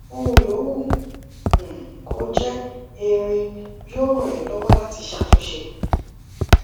ohun yòówù um kó jé irin yóò ràn ẹ lọwọ láti ṣàtúnṣe